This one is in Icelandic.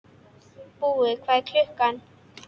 Búi, hvað er klukkan?